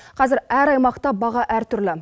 қазір әр аймақта баға әртүрлі